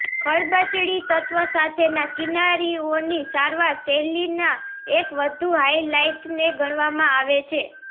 ખરબચડી તત્વ સાથેના કિનારીઓની સારવાર શૈલીના એક વધુ હાઇલાઇટને ગણવામાં આવે છે